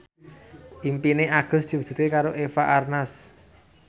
impine Agus diwujudke karo Eva Arnaz